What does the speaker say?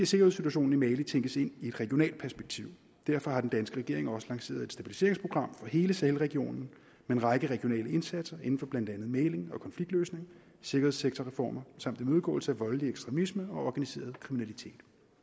sikkerhedssituationen i mali tænkes ind i et regionalt perspektiv derfor har den danske regering også lanceret et stabiliseringsprogram for hele sahelregionen med en række regionale indsatser inden for blandt andet mægling og konfliktløsning sikkerhedssektorreformer samt imødegåelse af voldelig ekstremisme og organiseret kriminalitet